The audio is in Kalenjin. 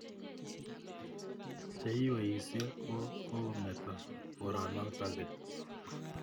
Cheiweisyei ko kometo koronotok keny